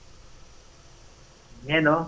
ಏನು ?